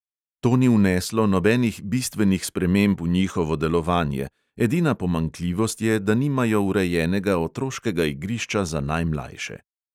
To ni vneslo nobenih bistvenih sprememb v njihovo delovanje, edina pomanjkljivost je, da nimajo urejenega otroškega igrišča za najmlajše.